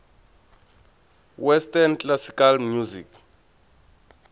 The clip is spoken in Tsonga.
western classical music